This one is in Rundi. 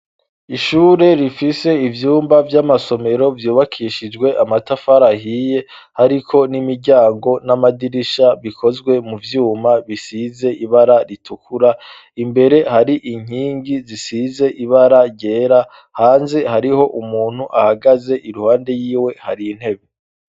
Ishure rifise ivyumba vy'amasomero vyubakishijwe amatafari ahiye, hariko n'imiryango n'amadirisha, bikozwe mu vyuma bisize ibara ritukura. Imbere hari inkingi zisize ibara ryera; hanze hariho umuntu ahagaze, iruhande yiwe hari intebe.